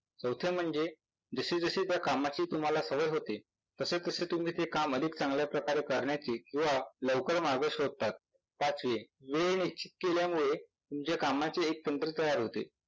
चौथे म्हणजे जशीजशी त्या कामाची तुम्हाला सवय होते तसेतसे ते काम तुम्ही ते अधिक चांगल्या प्रकारे करण्याची व लवकर मार्ग शोधतात. पाचवी वेळ निश्चित केल्यामुळे तुमच्या कामाचे एक सिन्त्रे तयार होते.